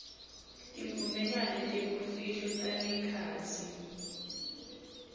tivumelwano tebumfihlo tangekhatsi